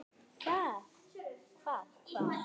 Hvað. hvað. hvar.